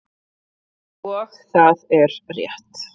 Og það er rétt.